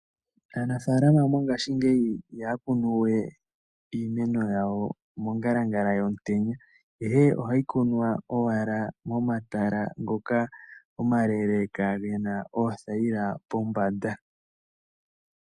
Aanafalama mongashingeyi ihaya kunu we iimeno yawo mongalangala yomutenya, ihe ohayi kunwa owala momatala ngoka omaleeleka ge na oothayila pombanda.